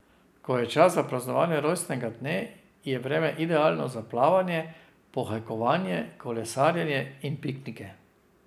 Ko je čas za praznovanje rojstnega dne, je vreme idealno za plavanje, pohajkovanje, kolesarjenje in piknike.